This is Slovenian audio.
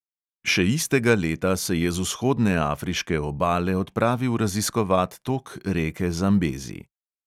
Še istega leta se je z vzhodne afriške obale odpravil raziskovat tok reke zambezi.